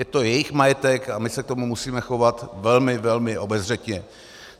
Je to jejich majetek a my se k tomu musíme chovat velmi, velmi obezřetně.